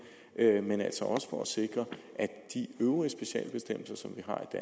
men altså også sikre at de øvrige specialbestemmelser som